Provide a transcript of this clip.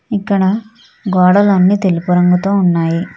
ఇక్కడ గోడలన్నీ తెలుపు రంగుతో ఉన్నాయి.